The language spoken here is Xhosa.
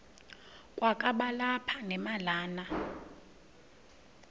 kwakaba lapha nemalana